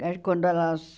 A quando elas...